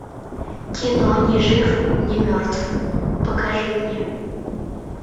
кино ни жив ни мертв покажи мне